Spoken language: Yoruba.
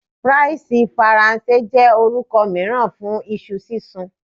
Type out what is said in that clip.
Fries Faranse jẹ orukọ miiran fun iṣu sisun